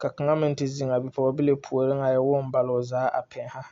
ka kaŋa meŋ te ziŋ a be pɔgebile puoriŋ a woo oŋ bale o zaa a pɛnnɛ.